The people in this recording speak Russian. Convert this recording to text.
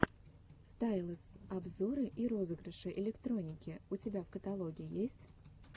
стайлэс обзоры и розыгрыши электроники у тебя в каталоге есть